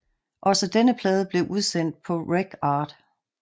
Også denne plade blev udsendt på RecArt